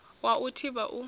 wa u i thivha u